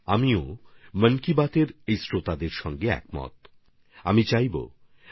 আমিও মন কি বাতের এই সমস্ত শ্রোতাদের সঙ্গে সহমত পোষণ করছি